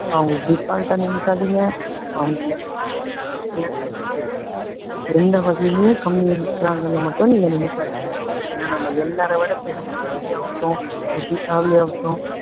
அவங்களை ஆ நினைக்காதீங்க, அவங்களை என்ன சொல்றது, எந்த வகையுலும் கம்மியா இருக்குறாங்கன்னு மட்டும் நீங்க நினைக்காதீங்க. ஏன்னா நம்ம எல்லாரையும் விட திறமைசாலியா ஆகட்டும், புத்திசாலி ஆகட்டும்